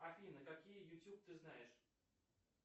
афина какие ютюб ты знаешь